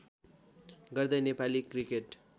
गर्दै नेपाली क्रिकेट